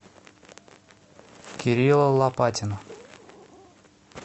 кирилла лопатина